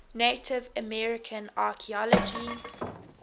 native american archeology